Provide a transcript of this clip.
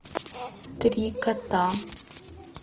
три кота